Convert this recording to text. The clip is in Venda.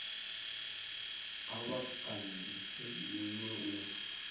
kha vha kandise minwe u